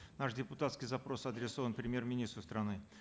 наш депутатский запрос адресован премьер министру страны